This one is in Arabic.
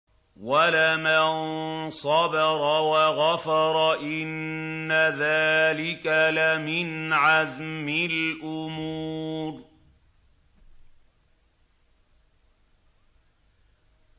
وَلَمَن صَبَرَ وَغَفَرَ إِنَّ ذَٰلِكَ لَمِنْ عَزْمِ الْأُمُورِ